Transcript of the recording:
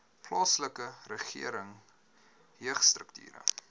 plaaslike regering jeugstrukture